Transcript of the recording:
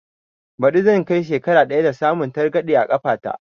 Ɓadi zan kai shekara ɗaya da samun targaɗe a kafa ta